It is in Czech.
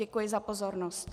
Děkuji za pozornost.